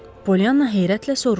Polyana heyrətlə soruşdu.